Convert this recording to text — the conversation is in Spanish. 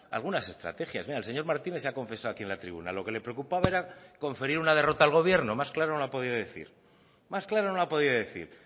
algunas estrategias mire el señor martínez se ha confesado aquí en la tribuna lo que le preocupaba era conferir una derrota al gobierno más claro no lo ha podido decir más claro no lo ha podido decir